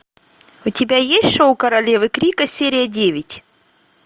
у тебя есть шоу королевы крика серия девять